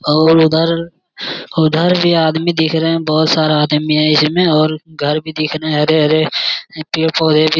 और उधर उधर भी आदमी दिख रहे हैं। बोहोत सारा आदमी है इसमें और घर भी दिख रहे हैं हरे-हरे पेड़-पौधे भी --